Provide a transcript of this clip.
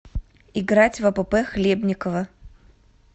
играть в апп хлебниково